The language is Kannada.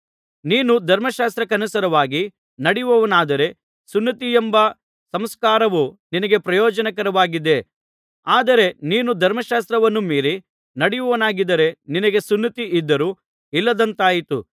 ನೀನು ಧರ್ಮಶಾಸ್ತ್ರಕ್ಕನುಸಾರವಾಗಿ ನಡೆಯುವವನಾದರೆ ಸುನ್ನತಿಯೆಂಬ ಸಂಸ್ಕಾರವು ನಿನಗೆ ಪ್ರಯೋಜನಕರವಾಗಿದೆ ಆದರೆ ನೀನು ಧರ್ಮಶಾಸ್ತ್ರವನ್ನು ಮೀರಿ ನಡೆಯುವವನಾಗಿದ್ದರೆ ನಿನಗೆ ಸುನ್ನತಿಯಿದ್ದರೂ ಇಲ್ಲದಂತಾಯಿತು